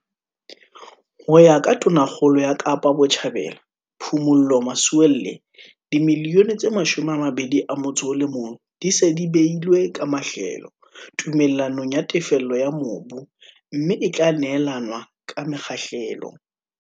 Ho ya ka Tonakgolo ya Kapa Botjhabela, Phumulo Masualle, R21 milione e se e beilwe ka mahlelo tume llanong ya tefello ya mobu, mme e tla neelanwa ka mekgahlelo.